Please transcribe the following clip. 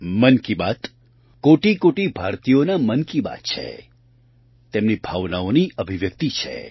મન કી બાત કોટિકોટિ ભારતીયોના મન કી બાત છે તેમની ભાવનાની અભિવ્યક્તિ છે